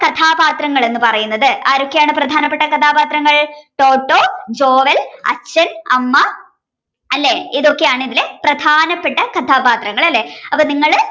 കഥാപാത്രങ്ങൾ എന്ന് പറയുന്നത് ആരൊക്കെയാണ് പ്രധാനപ്പെട്ട കഥാപാത്രങ്ങൾ ടോട്ടോ ജോവൽ അച്ഛൻ അമ്മ അല്ലേ ഇതൊക്കെയാണ് ഇതിലെ പ്രധാനപ്പെട്ട കഥാപാത്രങ്ങൾ അല്ലേ അപ്പോ നിങ്ങള്